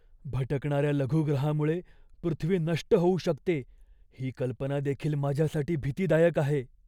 भटकणाऱ्या लघुग्रहामुळे पृथ्वी नष्ट होऊ शकते ही कल्पना देखील माझ्यासाठी भीतीदायक आहे.